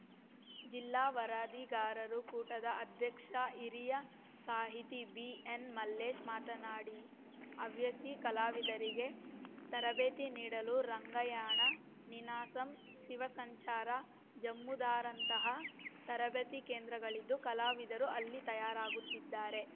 ಜಿಲ್ಲಾ ವರದಿಗಾರರು ಕೂಟದ ಅಧ್ಯಕ್ಷ ಹಿರಿಯ ಸಾಹಿತಿ ಬಿಎನ್‌ಮಲ್ಲೇಶ್‌ ಮಾತನಾಡಿ ಹವ್ಯ ಸಿ ಕಲಾವಿದರಿಗೆ ತರಬೇತಿ ನೀಡಲು ರಂಗಾಯಣ ನಿನಾಸಂ ಶಿವ ಸಂಚಾರ ಜಮುರಾದಂತಹ ತರಬೇತಿ ಕೇಂದ್ರಗಳಿದ್ದು ಕಲಾವಿದರು ಅಲ್ಲಿ ತಯಾರಾಗುತ್ತಿದ್ದಾರೆ